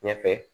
Ɲɛfɛ